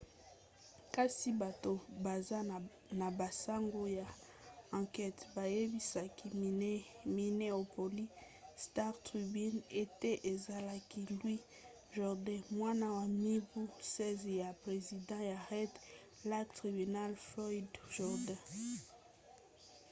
kasi bato baza na basango ya ankete bayebisaki minneapolis star-tribune ete ezalaki louis jourdain mwana ya mibu 16 ya president ya red lake tribal floyd jourdain